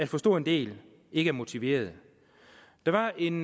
for stor en del ikke er motiverede der var en